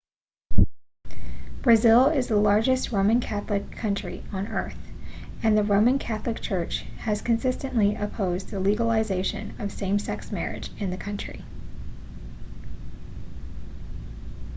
brazil is the largest roman catholic country on earth and the roman catholic church has consistently opposed the legalization of same-sex marriage in the country